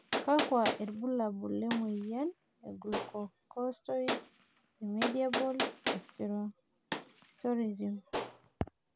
kakua irbulabol le moyian e Glucocorticoid remediable aldosteronism?